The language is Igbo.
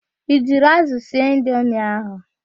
I jiri ázụ̀ sie indomi ahụ?